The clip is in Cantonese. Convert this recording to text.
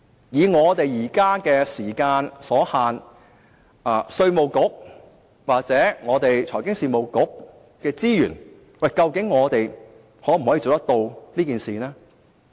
由於時間所限，稅務局或財經事務及庫務局的資源，究竟可否做到這事？